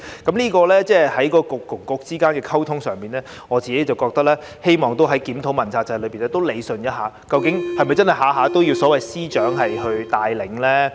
在政策局與政策局之間的溝通上，我希望在檢討問責制時可以理順一下，究竟是否真的要所有事宜均由司長帶領呢？